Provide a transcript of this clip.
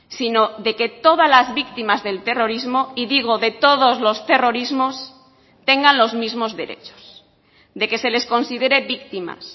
sino de que todas las víctimas del terrorismo y digo de todos los terrorismos tengan los mismos derechos de que se les considere víctimas